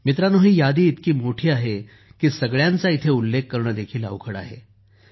मित्रांनो ही यादी इतकी मोठी आहे की सगळ्यांचा इथे उल्लेख करणे देखील अवघड आहे